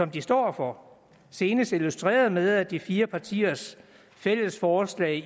de står for senest illustreret ved at de fire partiers fælles forslag